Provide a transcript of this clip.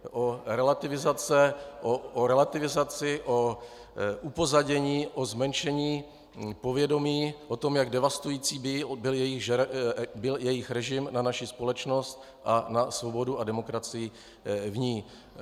O relativizaci, o upozadění, o zmenšení povědomí, o tom, jak devastující byl jejich režim na naši společnost a na svobodu a demokracii v ní.